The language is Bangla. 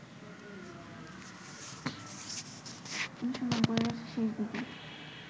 ১৯৯০-এর শেষ দিকে